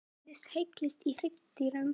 Hvernig þróaðist heilinn í hryggdýrum?